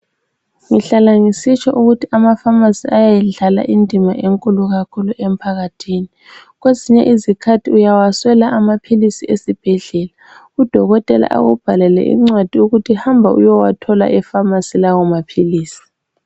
Ngihlala ngisitsho ukuthi amafamasi ayayidlala indima enkulu kakhulu emphakathini. Kwezinye izikhathi uyawaswela amaphilisi esibhedlela, udokotela akubhalele incwadi eyokuthi hamba uyowathola efamasi lawa maphilisi.